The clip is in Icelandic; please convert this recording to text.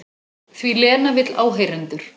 Því Lena vill áheyrendur.